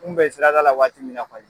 N kun bɛ siradala waati min na kɔni